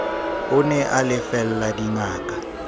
o ne a lefella dingaka